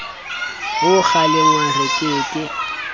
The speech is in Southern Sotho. ho kgalengwa re ke ke